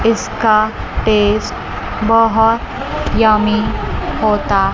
इसका टेस्ट बहोत यमी होता--